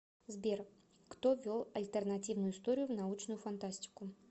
сбер кто ввел альтернативную историю в научную фантастику